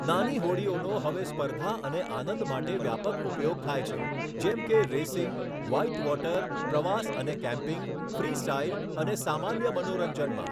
નાની હોડીઓનો હવે સ્પર્ધા અને આનંદ માટે વ્યાપક ઉપયોગ થાય છે, જેમ કે રેસિંગ, વ્હાઇટવોટર, પ્રવાસ અને કેમ્પિંગ, ફ્રીસ્ટાઇલ અને સામાન્ય મનોરંજનમાં.